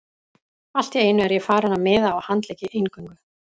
Allt í einu er ég farinn að miða á handleggi eingöngu.